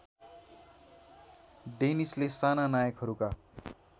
डेनिसले साना नायकहरूका